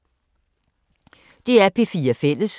DR P4 Fælles